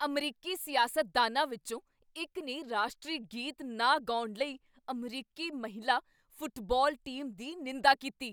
ਅਮਰੀਕੀ ਸਿਆਸਤਦਾਨਾਂ ਵਿੱਚੋਂ ਇੱਕ ਨੇ ਰਾਸ਼ਟਰੀ ਗੀਤ ਨਾ ਗਾਉਣ ਲਈ ਅਮਰੀਕੀ ਮਹਿਲਾ ਫੁਟਬਾਲ ਟੀਮ ਦੀ ਨਿੰਦਾ ਕੀਤੀ।